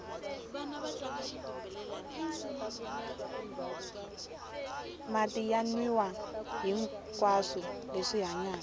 mati ya nwiwa hihinkwaswo leswi hanyaka